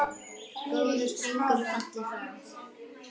Góður drengur er fallinn frá.